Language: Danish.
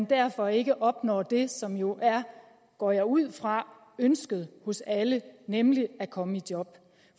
derfor ikke opnår det som jo er går jeg ud fra ønsket hos alle nemlig at komme i job